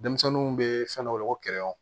Denmisɛnninw bɛ fɛn dɔ weele ko